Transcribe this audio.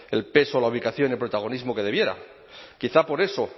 el peso la ubicación y el protagonismo que debiera quizá por eso